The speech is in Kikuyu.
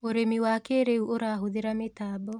ũrĩmi wa kĩrĩu ũrahũthĩra mĩtambo